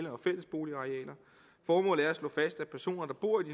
og fælles boligarealer formålet er at slå fast at personer der bor i